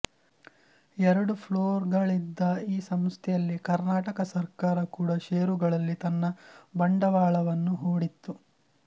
ಎರಡು ಫ್ಲೋರ್ಗಳಿದ್ದ ಈ ಸಂಸ್ಥೆಯಲ್ಲಿ ಕರ್ನಾಟಕ ಸರ್ಕಾರ ಕೂಡ ಷೇರುಗಳಲ್ಲಿ ತನ್ನ ಬಂಡವಾಳವನ್ನು ಹೂಡಿತ್ತು